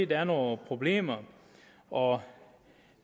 der er nogle problemer og